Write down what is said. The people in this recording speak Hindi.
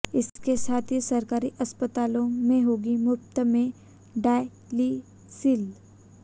इसके साथ ही सरकारी अस्पतालों में होगी मुफ्त में डायलिसिल